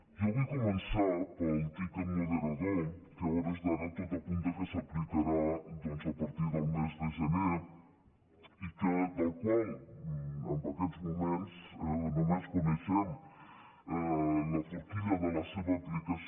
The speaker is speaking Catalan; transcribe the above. jo vull començar pel tiquet moderador que a hores d’ara tot apunta que s’aplicarà doncs a partir del mes de gener i del qual en aquests moments només co·neixem la forquilla de la seva aplicació